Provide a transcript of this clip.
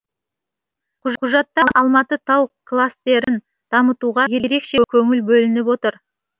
құжатта алматы тау кластерін дамытуға ерекше көңіл бөлініп отыр